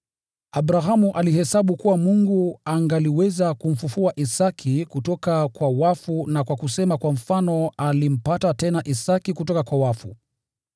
Abrahamu alihesabu kuwa Mungu angaliweza kumfufua Isaki kutoka kwa wafu. Na kwa kusema kwa mfano, alimpata tena Isaki kutoka kwa wafu.